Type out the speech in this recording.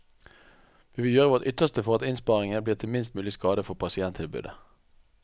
Vi vil gjøre vårt ytterste for at innsparingene blir til minst mulig skade for pasienttilbudet.